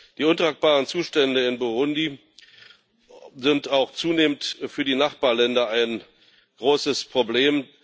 Die untragbaren Zustände in Burundi sind auch zunehmend für die Nachbarländer ein großes Problem.